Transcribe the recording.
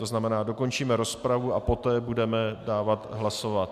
To znamená, dokončíme rozpravu a poté budeme dávat hlasovat.